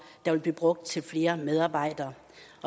der vil blive brugt til flere medarbejdere